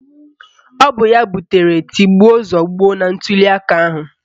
Ọ bụ ya butere tigbuo zọgbuo na ntụliaka ahụ